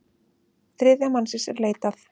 Þriðja mannsins er leitað.